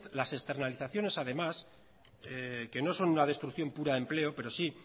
esas externalizaciones además que no son una destrucción pura de empleo pero sí